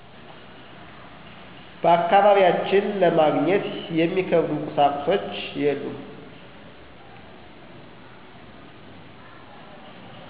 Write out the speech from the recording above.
በአካባቢያችን ለማግኘት የሚከብዱ ቁሳቁሶች የሉም።